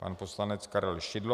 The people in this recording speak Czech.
Pan poslanec Karel Šidlo.